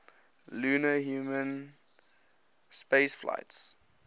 lunar human spaceflights